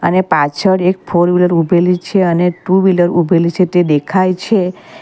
અને પાછળ એક ફોર વ્હીલર ઊભેલી છે અને ટુ વ્હીલર ઊભેલી છે તે દેખાય છે.